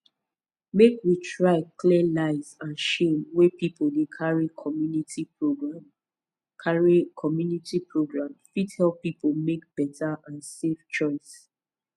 make we try clear lies and shame wey people dey carry community program carry community program fit help people make better and safe choice